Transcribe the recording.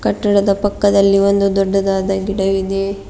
ಕಟ್ಟಡದ ಪಕ್ಕದಲ್ಲಿ ಒಂದು ದೊಡ್ಡದಾದ ಗಿಡ ಇದೆ.